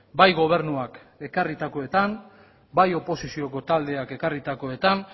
bai gobernuak ekarritakoetan bai oposizioko taldeak ekarritakoetan